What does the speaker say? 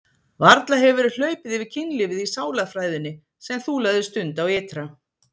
Varla hefur verið hlaupið yfir kynlífið í sálarfræðinni sem þú lagðir stund á ytra?